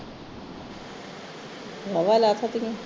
ਵਾਵਾ ਲੱਥ ਦੀਆਂ